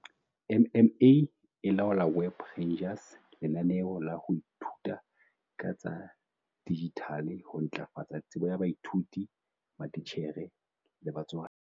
MMA e laola Web Rangers, lenaneo la ho ithuta ka tsa dijithale ho ntlafatsa tsebo ya baithuti, matitjhere le batswadi.